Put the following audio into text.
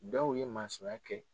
Dɔw ye masɔnya kɛ